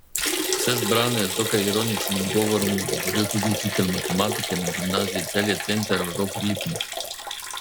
Vse zbrane je z dokaj ironičnim govorom nagovoril tudi učitelj matematike na Gimnaziji Celje Center Rok Lipnik.